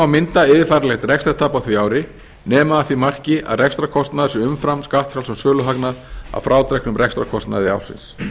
mynda yfirfæranlegt rekstrartap á því ári nema að því marki að rekstrarkostnaður sé umfram skattfrjálsan söluhagnað að frádregnum rekstrarkostnaði ársins